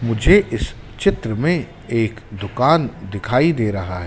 मुझे इस चित्र में एक दुकान दिखाई दे रहा--